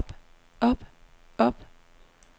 op op op